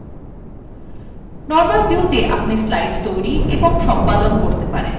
normal viewত়ে আপনি slides তৈরী এবং সম্পাদন কতে পারবেন